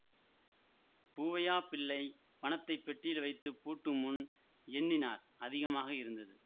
பூவையாப் பிள்ளை பணத்தை பெட்டியில் வைத்து பூட்டுமுன் எண்ணினார் அதிகமாக இருந்தது